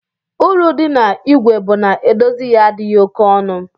Uru di na igwe bu na edozi ya adighi oke ọnụ.